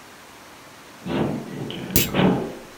сергей чаликов